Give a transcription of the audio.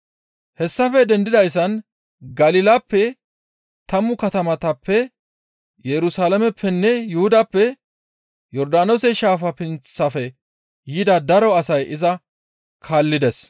Hessafe dendidayssan Galilappe, tammu katamatappe, Yerusalaameppenne Yuhudappe, Yordaanoose shaafa pinththafe yida daro asay iza kaallides.